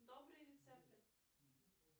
добрые рецепты